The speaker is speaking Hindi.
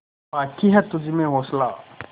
बाक़ी है तुझमें हौसला